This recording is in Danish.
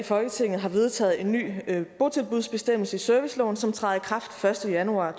folketinget har vedtaget en ny botilbudsbestemmelse i serviceloven som træder i kraft første januar